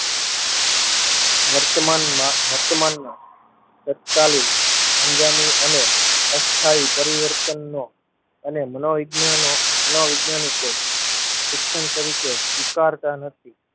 વર્તમાનમાં વર્તમાનમાં તત્કાલીન અંજાની અને અસ્થાઈ પરિવર્તનનો અને માનોવિજ્ઞાનો મનોવિજ્ઞાનીકો શિક્ષણ તરીકે સ્વીકારતાં નથી.